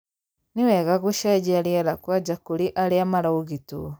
nĩ wega gũcenjia rĩera kwanja kũrĩ aria maraũgitĩtwo.